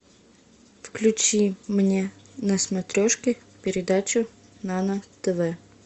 включи мне на смотрешке передачу нано тв